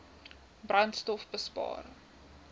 brandstofbespaar